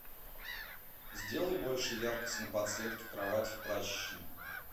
сделай больше яркость на подсветке кровати в прачечной